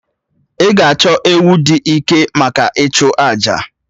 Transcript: Ị ga-achọ ewu dị ike maka ịchụ àjà?